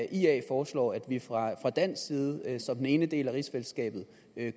ia foreslår at vi fra dansk side som den ene del af rigsfællesskabet